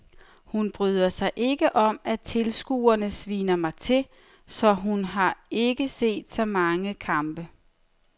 Hun bryder sig ikke om at tilskuerne sviner mig til, så hun har ikke set så mange kampe.